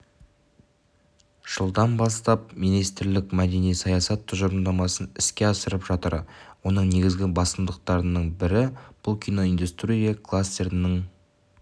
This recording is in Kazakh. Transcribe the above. жылдан бастап министрлік мәдени саясат тұжырымдамасын іске асырып жатыр оның негізгі басымдықтарының бірі бұл киноиндустрия кластерінің